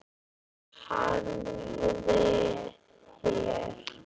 Hafliði hér.